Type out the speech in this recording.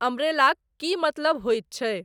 अंब्रेलाक की मतलब होइत छैक